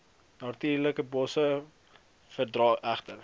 natuurlikebosse verdra egter